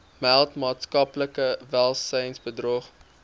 meld maatskaplike welsynsbedrog